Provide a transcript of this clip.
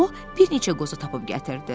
O bir neçə qoza tapıb gətirdi.